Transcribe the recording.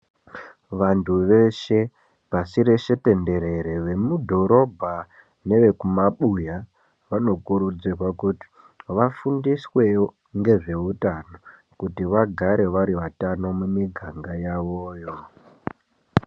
Vantu veshe pasi rese denderere vemudhorobha nevekumabuya vanokurudzirwa kuti vafundiswewo ngezvehutano kuti vagare vari vatano mumiganga yavoyo.